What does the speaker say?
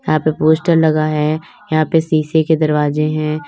यहां पे पोस्टर लगा है यहां पर शीशे के दरवाजे हैं।